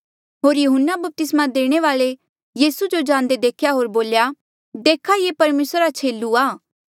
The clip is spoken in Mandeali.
होर यहून्ना बपतिस्मा देणे वाल्ऐ यीसू जो जांदे देख्या होर बोल्या देखा ये परमेसरा रा छेलू आ